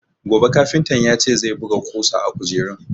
Gobe kafintan ya ce zai buga ƙusa a kujerun.